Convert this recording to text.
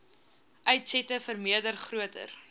uitsette vermeerder groter